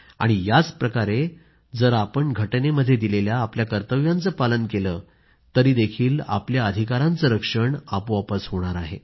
आणि याचप्रमाणे जर आपण राज्यघटनेमध्ये दिलेल्या आपल्या कर्तव्यांचे पालन केले तरीही आपल्या अधिकारांचे रक्षण आपोआप होणार आहे